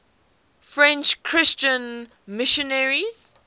french christian missionaries